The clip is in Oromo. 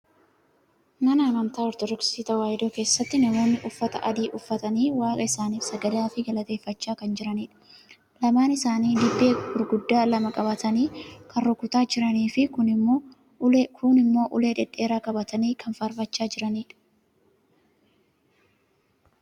Mana amantaa ortoodoksii tawaahidoo keessatti namoonni uffata adii uffatanii waaqa isaaniif sagadaafi galateeffachaa kan jiranidha. Lamaan isaanii dibbee gurgiddaa lama qabatanii kan rukutaa jiraniifi kuun immoo ulee dhedheeraa qabatanii kan faarfachaa jiranidha.